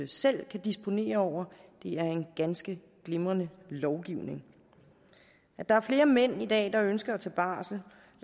selv kan disponere over er en ganske glimrende lovgivning at der er flere mænd i dag der ønsker at tage barsel